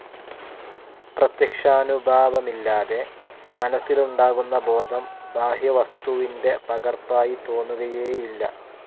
പ്രത്യക്ഷാനുഭവമില്ലാതെ, മനസ്സിലുണ്ടാകുന്ന ബോധം ബാഹ്യവസ്തുവിന്റെ പകർപ്പായി തോന്നുകയേയില്ല.